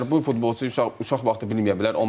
Yəni bu futbolçu uşaq vaxtı bilməyə bilər.